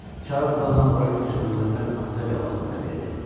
Çarzlə mən bura köçürülməzdən azca qabaq mənə verdi.